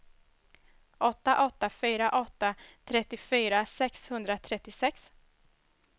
åtta åtta fyra åtta trettiofyra sexhundratrettiosex